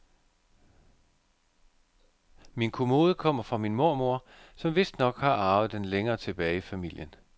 Min kommode kommer fra min mormor, som vistnok har arvet den længere tilbage i familien.